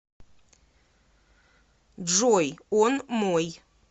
джой он мой